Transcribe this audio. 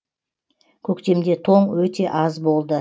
көктемде тоң өте аз болды